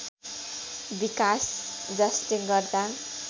विकास जसले गर्दा